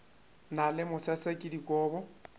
na le masese ke dikobo